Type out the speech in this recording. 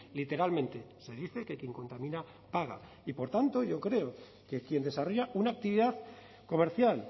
literalmente se dice que quien contamina paga y por tanto yo creo que quien desarrolla una actividad comercial